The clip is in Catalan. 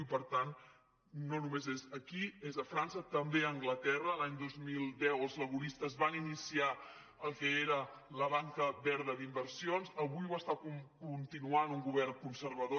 i per tant no només és aquí és a frança també a anglaterra l’any dos mil deu els laboristes van iniciar el que era la banca verda d’inversions avui ho està continuant un govern conservador